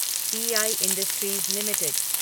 P I industries limited